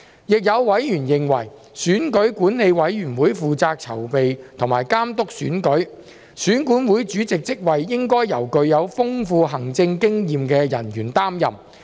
亦有委員認為，選舉管理委員會負責籌備和監督選舉，選管會主席職位應該由具有豐富行政經驗的人員擔任。